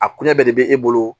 A kuɲa bɛɛ de be e bolo